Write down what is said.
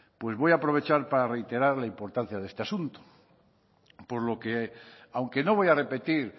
voy a aprovechar para reiterar la importancia de este asunto aunque no voy a repetir